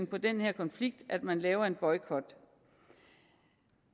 på den her konflikt at man laver en boykot